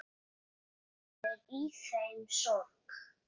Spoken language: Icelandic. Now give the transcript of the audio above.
Það er í þeim sorg.